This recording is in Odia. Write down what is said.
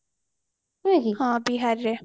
ହଁ ବିହାର ରେ